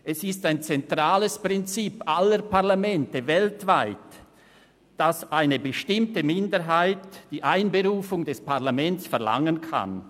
Es ist ein zentrales Prinzip aller Parlamente weltweit, dass eine bestimmte Minderheit die Einberufung des Parlaments verlangen kann.